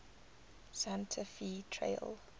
santa fe trail